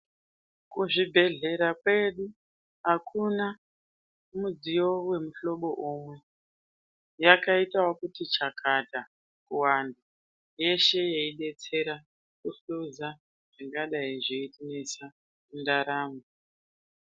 Kuzvibhedhleya kwedu akuna mudziyo wemuhlobo umwe, yakaite ekuti chakata kuwanda yeshe yeidetsera kuhludza zvingadai zveitinesa mundaramo.